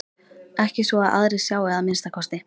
Ekki svo að aðrir sjái að minnsta kosti.